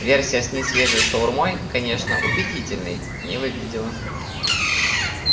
версия с несвежей шаурмой конечно убедительной не выглядела